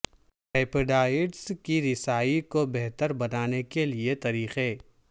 peptides کی رسائی کو بہتر بنانے کے لئے طریقے